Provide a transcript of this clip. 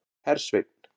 Hersveinn